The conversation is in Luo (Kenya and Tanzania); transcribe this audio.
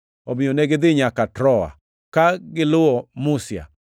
Omiyo negidhi nyaka Troa, ka giluwo Musia.